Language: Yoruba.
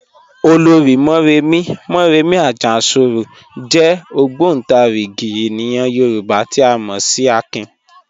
Ọlọ́rì̀ Mọ̀remí (Mọ̀remí Àjàṣorò) jẹ̀ ogbontarigi ènìyàn Yorùbá tí a mọ sí ẹ̀kìn."